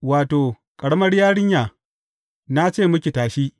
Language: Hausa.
Wato, Ƙaramar yarinya, na ce miki, tashi!